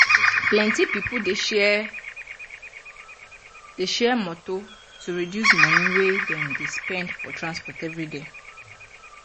plenti people dey share dey share motor to reduce money wey dem dey spend for transport everyday.